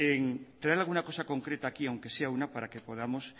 en traer alguna cosa concreta aquí aunque sea una para que podamos